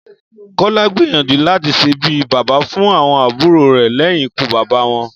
Kó̩lá gbìyànjú láti s̩e bí bàbá fún àwo̩n àbúrò rè̩ lé̩yìn ikú bàbá wo̩n